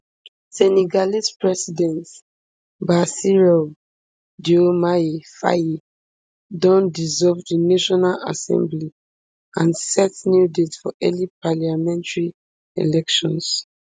senegalese president bassirou diomaye faye don dissolve di national assembly and set new date for early parliamentary elections